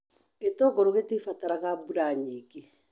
Gĩtũngũrũ gĩtibataraga mbura nyingĩ.